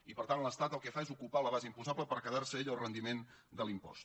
i per tant l’estat el que fa és ocupar la base imposable per quedar se ell el rendiment de l’impost